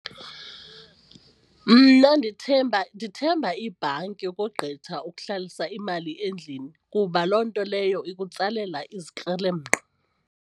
Mna ndithemba ndithemba ibhanki ukogqitha ukuhlalisa imali endlini kuba loo nto leyo ikutsalela izikrelemnqa.